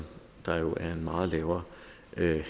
der jo er en meget lavere